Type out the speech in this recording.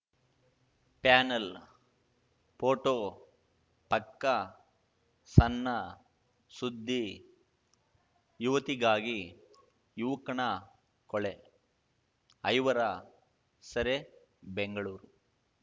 panel photo ಪಕ್ಕ ಸಣ್ಣ ಸುದ್ದಿ ಯುವತಿಗಾಗಿ ಯುವಕನ ಕೊಳೆ ಐವರ ಸೆರೆ ಬೆಂಗಳೂರು